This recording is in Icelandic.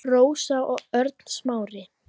Rósa og Örn Smári.